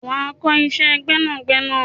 wà á kọ́ iṣẹ́ gbẹ́nàgbẹnà!